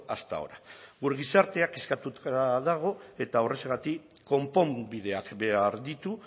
hasta ahora gure gizartea kezkatuta dago eta horrexegatik konponbideak behar ditu